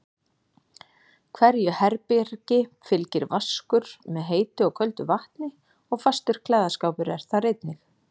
Hverju herbergi fylgir vaskur með heitu og köldu vatni og fastur klæðaskápur er þar einnig.